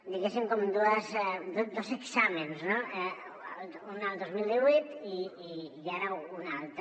diguéssim com dos exàmens no un el dos mil divuit i ara un altre